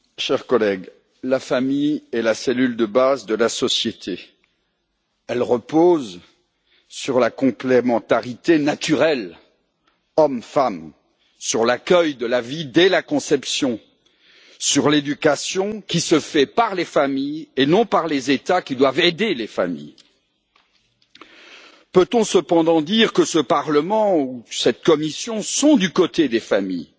Madame la Présidente, chers collègues, la famille est la cellule de base de la société. Elle repose sur la complémentarité naturelle hommes femmes, sur l'accueil de la vie dès la conception, sur l'éducation, qui se fait par les familles et non par les États, qui doivent aider les familles. Peut on cependant dire que ce Parlement ou cette Commission sont du côté des familles?